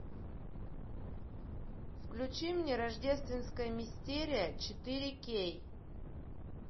включи мне рождественская мистерия четыре кей